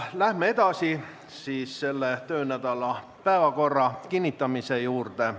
Läheme edasi selle töönädala päevakorra kinnitamise juurde.